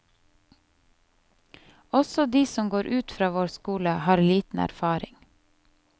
Også de som går ut fra vår skole, har for liten erfaring.